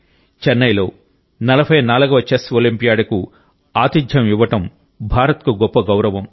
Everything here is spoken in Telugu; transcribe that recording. చెన్నైలో 44వ చెస్ ఒలింపియాడ్కు ఆతిథ్యం ఇవ్వడం భారత్కు గొప్ప గౌరవం